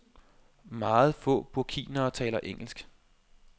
Meget få burkinere taler engelsk.